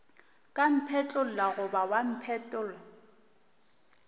ka mphetlolla goba wa mpetolla